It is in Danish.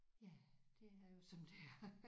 Ja det er jo som det er